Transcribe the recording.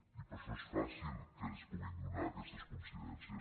i per això es fàcil que es puguin donar aquestes coincidències